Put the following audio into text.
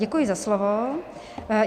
Děkuji za slovo.